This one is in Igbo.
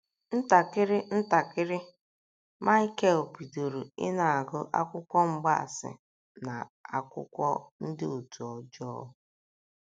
Ntakịrị ntakịrị, Michael bidoro ịna - agụ akwụkwọ mgbaasị na akwụkwọ ndị òtù ọjọọ..